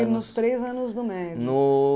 Foi nos três anos do médio. No...